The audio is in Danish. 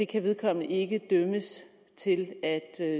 kan vedkommende ikke dømmes til at